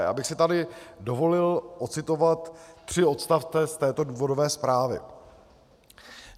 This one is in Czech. Já bych si tady dovolil odcitovat tři odstavce z této důvodové zprávy.